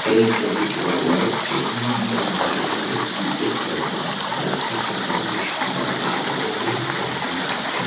এই ছবিটি হল হচ্ছে ইন্ডিয়ান অয়েলের একটি পেট্রোল পাম্প এবং পেট্রোল পাম্পটি সাদা লাল ও নীল রং করা আছে।